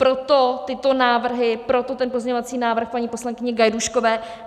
Proto tyto návrhy, proto ten pozměňovací návrh paní poslankyně Gajdůškové.